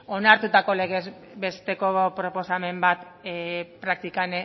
onartutako legez besteko proposamen bat praktikan